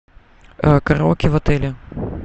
караоке в отеле